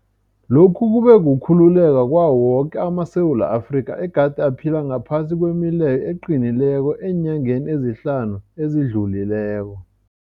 Lokhu kube kukhululeka kwawo woke amaSewula Afrika egade aphila ngaphasi kwemileyo eqinileko eenyangeni ezihlanu ezidlulileko.